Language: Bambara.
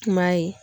Tuma ye